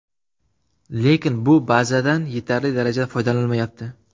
Lekin bu bazadan yetarli darajada foydalanilmayapti.